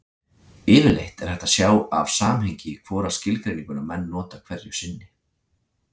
Yfirleitt er hægt að sjá af samhengi hvora skilgreininguna menn nota hverju sinni.